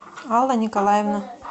алла николаевна